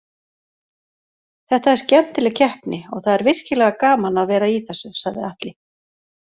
Þetta er skemmtileg keppni og það er virkilega gaman að vera í þessu, sagði Atli.